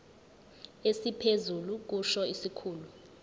esiphezulu kusho isikhulu